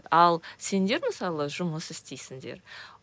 ал сендер мысалы жұмыс істейсіңдер